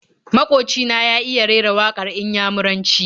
Maƙoci na ya iya rera waƙar Inyamuranci.